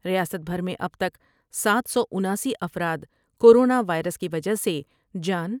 ریاست بھر میں اب تک سات سو اناسی افرادکورونا وائرس کی وجہہ سے جان